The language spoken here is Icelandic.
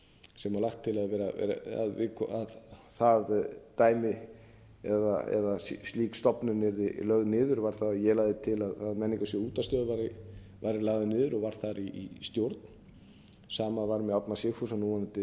sem er lagt til að það dæmi eða slík stofnun yrði lögð niður var það að ég lagði til að menningarsjóður útvarpsstöðva væri lagður niður og var þar í stjórn sama var með árna sigfússon